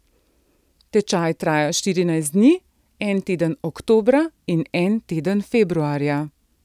Tečaj traja štirinajst dni, en teden oktobra in en teden februarja.